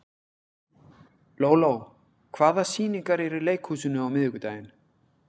Lóló, hvaða sýningar eru í leikhúsinu á miðvikudaginn?